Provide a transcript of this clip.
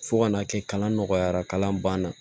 Fo ka n'a kɛ kalan nɔgɔyara kalan banna